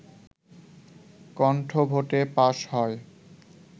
কন্ঠভোটে pass হয়